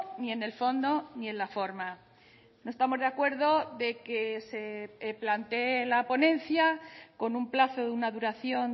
ni en el fondo ni en la forma no estamos de acuerdo de que se plantee la ponencia con un plazo de una duración